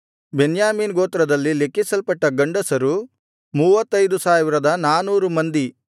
ಬೆನ್ಯಾಮೀನ್ ಗೋತ್ರದಲ್ಲಿ ಲೆಕ್ಕಿಸಲ್ಪಟ್ಟ ಗಂಡಸರು 35400 ಮಂದಿ